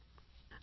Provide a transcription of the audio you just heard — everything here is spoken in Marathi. phone call 2